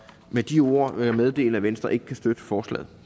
med de ord vil jeg meddele at venstre ikke kan støtte forslaget